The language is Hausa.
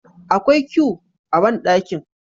Akwai que a bandakin